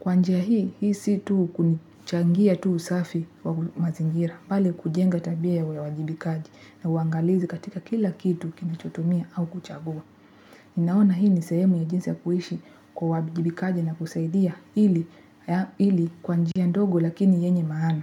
Kwa nija hii, hii si tuu kunichangia tu usafi wa mazingira. Bali kujenga tabia ya uwajibikaji na uangalizi katika kila kitu kinachotomia au kuchagua. Ninaona hii ni sehemu ya jinsi kuishi kwa uwajibikaji na kusaidia ili kwa njia ndogo lakini yenye maana.